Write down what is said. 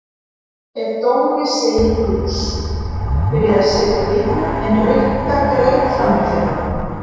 Ef Dóri segir lús. byrjaði Sibbi en Rikka greip fram í fyrir honum.